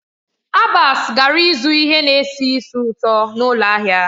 Abbas gara ịzụ ihe na-esi ísì ụtọ n'ụlọ ahịa.